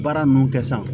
Baara ninnu kɛ sa